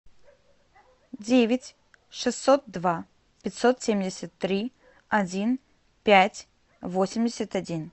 девять шестьсот два пятьсот семьдесят три один пять восемьдесят один